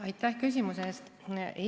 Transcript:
Aitäh küsimuse eest!